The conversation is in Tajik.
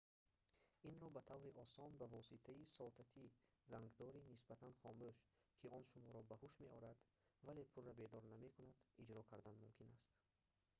инро ба таври осон ба воситаи сотати зангдори нисбатан хомӯш ки он шуморо ба ҳуш меорад вале пурра бедор намекунад иҷро кардан мумкин аст